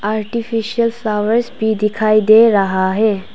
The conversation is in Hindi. आर्टिफिशियल फ्लॉवर्स भी दिखाई दे रहा है।